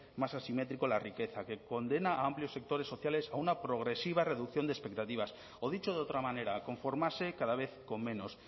más asimétrico de la riqueza que condena a amplios sectores sociales a una progresiva reducción de expectativas o dicho de otra manera a conformarse cada vez con menos